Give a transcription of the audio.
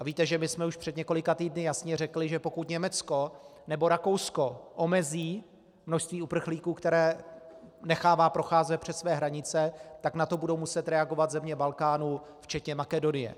A víte, že my jsme už před několika týdny jasně řekli, že pokud Německo nebo Rakousko omezí množství uprchlíků, které nechává procházet přes své hranice, tak na to budou muset reagovat země Balkánu včetně Makedonie.